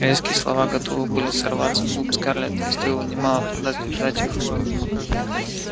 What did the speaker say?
резкие слова готовы были сорваться с губ скарлетт ей стоило немалого труда сдержать их